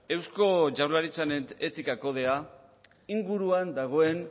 eusko jaurlaritzaren etika kodea inguruan dagoen